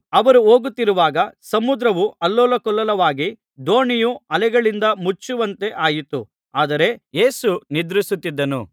ಅವರು ಹೋಗುತ್ತಿರುವಾಗ ಸಮುದ್ರವು ಅಲ್ಲೋಲಕಲ್ಲೋಲವಾಗಿ ದೋಣಿಯು ಅಲೆಗಳಿಂದ ಮುಚ್ಚುವಂತೆ ಆಯಿತು ಆದರೆ ಯೇಸು ನಿದ್ರಿಸುತ್ತಿದ್ದನು